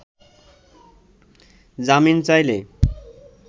জামিন চাইলে